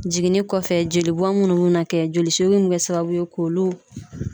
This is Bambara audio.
Jiginni kɔfɛ joli bɔnna kɛ jolisi mun be kɛ sababu ye k'olu